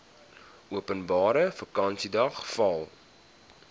openbare vakansiedag val